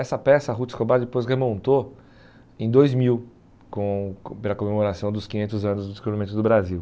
Essa peça a Ruth Escobar depois remontou em dois mil, com pela comemoração dos quinhentos anos do Desenvolvimento do Brasil.